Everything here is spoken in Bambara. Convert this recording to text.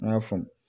N y'a faamu